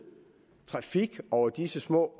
trafik over disse små